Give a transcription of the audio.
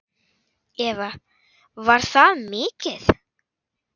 Eva: Var það mikið?